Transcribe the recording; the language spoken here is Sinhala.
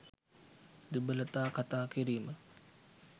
දුබලතා කතා කිරීම